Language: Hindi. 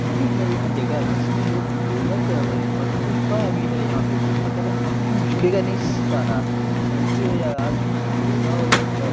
ये है एक जगह जिसमे लोग योगा कर रहे है और पुष्पा है यहां पे पुष्पा के रहा है अब तुम झुकेगा नहीं साला धरती हो या आसमान योग हो या से --